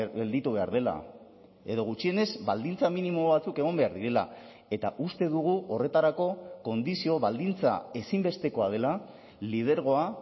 gelditu behar dela edo gutxienez baldintza minimo batzuk egon behar direla eta uste dugu horretarako kondizio baldintza ezinbestekoa dela lidergoa